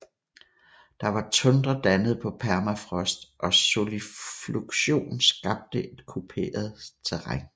Der var tundra dannet på permafrost og solifluction skabte et kuperet landskab